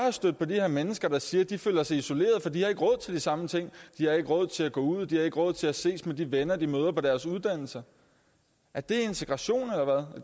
er stødt på de her mennesker der siger at de føler sig isoleret fordi har råd til de samme ting de har ikke råd til at gå ud de har ikke råd til at ses med de venner de møder på deres uddannelse er det integration eller